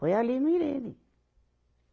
Foi ali no Irene.